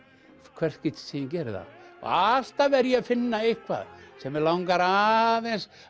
hvert skipti sem ég geri það og alltaf er ég að finna eitthvað sem mig langar aðeins